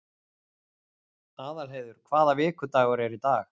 Aðalheiður, hvaða vikudagur er í dag?